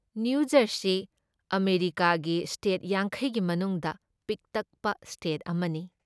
ꯅꯤꯌꯨꯖꯔꯁꯤ ꯑꯃꯦꯔꯤꯀꯥꯒꯤ ꯁ꯭ꯇꯦꯠ ꯌꯥꯡꯈꯩ ꯒꯤ ꯃꯅꯨꯡꯗ ꯄꯤꯛꯇꯛꯄ ꯁ꯭ꯇꯦꯠ ꯑꯃꯅꯤ ꯫